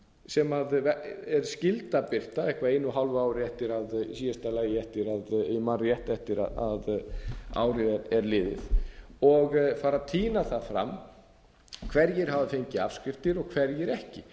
sem er skylda að birta eitthvað einu og hálfu ári eftir að í síðasta lagi eftir að ef ég man rétt eftir að árið er liðið og fara að tína það fram hverjir hafa fengið afskriftir og hverjir ekki